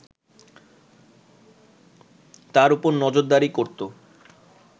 তার ওপর নজরদারি করতো